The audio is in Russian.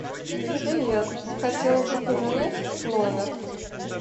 привет хотела бы поменять номер